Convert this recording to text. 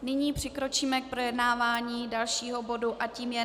Nyní přikročíme k projednávání dalšího bodu a tím je